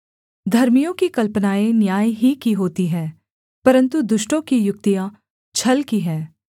धर्मियों की कल्पनाएँ न्याय ही की होती हैं परन्तु दुष्टों की युक्तियाँ छल की हैं